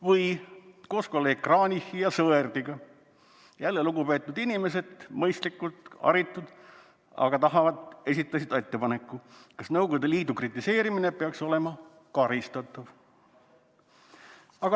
" Või koos kolleeg Kranichi ja Sõerdiga, jälle lugupeetud inimesed, mõistlikud ja haritud, aga tahavad esitada sellise küsimuse: "Kas Nõukogude Liidu kritiseerimine peaks olema karistatav?